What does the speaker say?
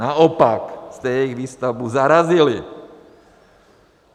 Naopak jste jejich výstavbu zarazili.